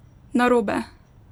Narobe!